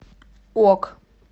ок